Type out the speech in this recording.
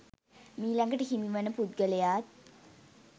මීලඟට හිමි වන පුද්ගලයාත්